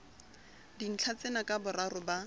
dintlha tsena ka boraro ba